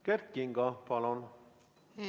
Kert Kingo, palun!